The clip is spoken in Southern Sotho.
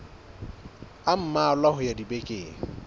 a mmalwa ho ya dibekeng